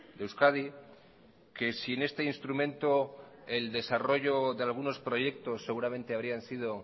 de euskadi que sin este instrumento el desarrollo de algunos proyectos seguramente habrían sido